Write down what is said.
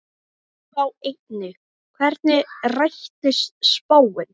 Sjá einnig: Hvernig rættist spáin?